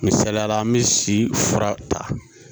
Misaliyala an bɛ si fura ta